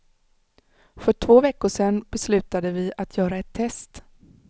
För två veckor sen beslutade vi att göra ett test.